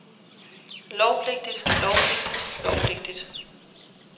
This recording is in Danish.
lovpligtigt lovpligtigt lovpligtigt